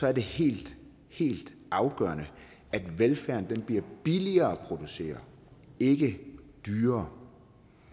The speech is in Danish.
er det helt helt afgørende at velfærden bliver billigere at producere ikke dyrere